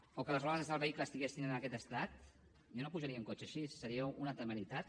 o que les rodes del vehicle estiguessin en aquest estat jo no pujaria en un cotxe així seria una temeritat